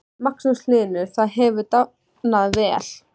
Magnús Hlynur: Það hefur dafnað vel?